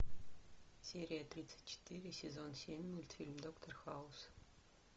серия тридцать четыре сезон семь мультфильм доктор хаус